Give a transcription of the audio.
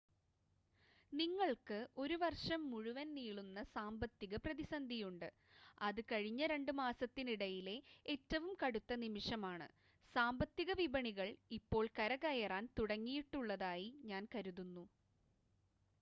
ഞങ്ങൾക്ക് ഒരു വർഷം മുഴുവൻ നീളുന്ന സാമ്പത്തിക പ്രതിസന്ധിയുണ്ട് അത് കഴിഞ്ഞ രണ്ട് മാസത്തിനിടയിലെ ഏറ്റവും കടുത്ത നിമിഷമാണ് സാമ്പത്തിക വിപണികൾ ഇപ്പോൾ കരകയറാൻ തുടങ്ങിയിട്ടുള്ളതായി ഞാൻ കരുതുന്നു